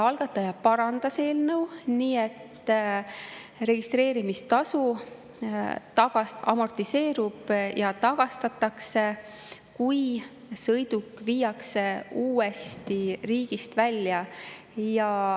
Algataja parandas eelnõu nii, et registreerimistasu amortiseerub ja tagastatakse, kui sõiduk viiakse uuesti riigist välja.